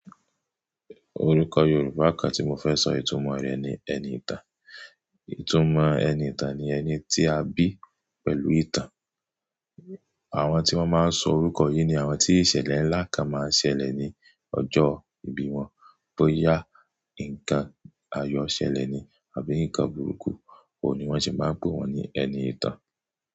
Orúkọ Yorùbá kan tí mo fẹ́ sọ ìtumọ̀ rẹ̀ ni ẹni ìtàn. Ìtumò ẹni ìtàn ni ẹni tí a bí pẹ̀lú ìtàn. Àwọn tí wọ́n máa ń sọ orúkọ yìí ni àwọn tí ìṣẹ̀lẹ̀ ńlá kan máa ń ṣẹlẹ̀ ní ọjọ́ ìbí wọn, bóyá nǹkan ayọ̀ ṣẹlẹ̀ ni àbí nǹkan burúkú, ó ni wọ́n sì máa ń pè wọ́n ní ẹni ìtàn.